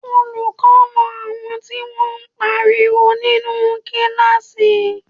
Olùkọ́ na àwọn tí wọ́n pariwo nínú kíláàsì